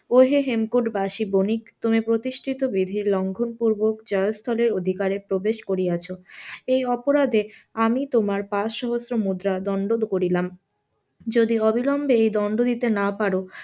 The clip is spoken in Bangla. অহে হেমকুটবাসী বণিক তুমি প্রতিষ্ঠিত বিধি লঙ্ঘন পুর্বক জয়স্থলের অধিকারে প্রবেশ করিয়াছ, এই অপরাধে আমি তোমার পাঁচ সহস্র মুদ্রার দন্ড করিলাম যদি অবিলম্বে এই দন্ড দিতে না পার,